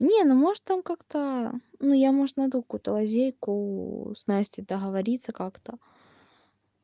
не ну может там как-то ну я может найду какую-то лазейку с настей договориться как-то